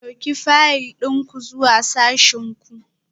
Ɗauki fayil ɗin ku zuwa sashin ku